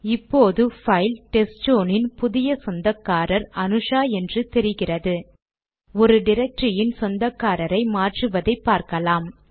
இப்போது file test zone இன் புதிய சொந்தக்காரர் அனுஷா என்று தெரிகிறது ஒரு டிரக்டரியின் சொந்தக்காரரை மாற்றுவது எப்படி என்று பார்க்கலாம்